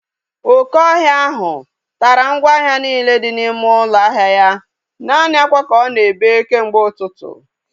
Oke ọhịa ahụ tara ngwa ahịa niile dị n'ime ụlọ ahịa ya. Naanị akwa ka ọ na-ebe kemgbe ụtụtụ